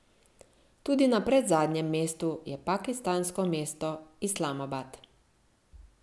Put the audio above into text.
Tudi na predzadnjem mestu je pakistansko mesto Islamabad.